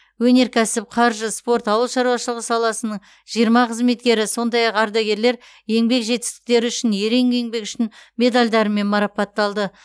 өнеркәсіп қаржы спорт ауыл шаруашылығы саласының жиырма қызметкері сондай ақ ардагерлер еңбек жетістіктері үшін ерен еңбегі үшін медальдарымен марапатталды